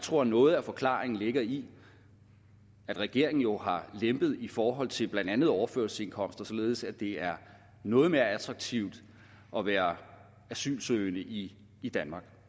tror at noget af forklaringen ligger i at regeringen jo har lempet i forhold til blandt andet overførselsindkomster således at det er noget mere attraktivt at være asylsøgende i i danmark